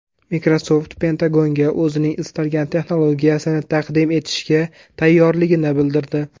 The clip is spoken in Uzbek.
Microsoft Pentagonga o‘zining istalgan texnologiyasini taqdim etishga tayyorligini bildirdi.